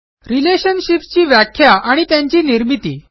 Relationshipsची व्याख्या आणि त्यांची निर्मिती